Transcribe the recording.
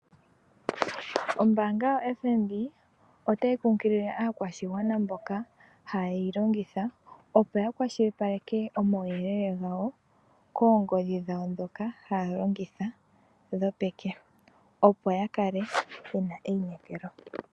Ombaanga yoFNB otayi kunkilile aakwashigwana mboka hayeyi longitha, opo yakwashilipaleke omauyelele gawo, koongodhi dhawo ndhoka haya longitha dhoepeke, yo yakele yena einekelo.